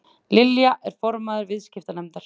Lilja er formaður viðskiptanefndar